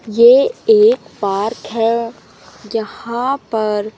ये एक पार्क है जहां पर--